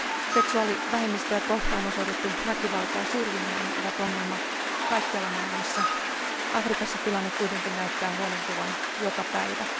Seksuaalivähemmistöjä kohtaan osoitettu väkivalta ja syrjiminen ovat ongelma kaikkialla maailmassa. Afrikassa tilanne kuitenkin näyttää huonontuvan joka päivä.